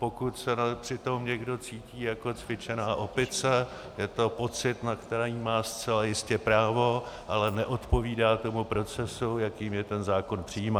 Pokud se přitom někdo cítí jako cvičená opice, je to pocit, na který má zcela jistě právo, ale neodpovídá tomu procesu, jakým je ten zákon přijímán.